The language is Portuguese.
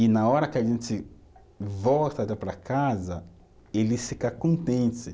E na hora que a gente volta da, para casa, ele fica contente.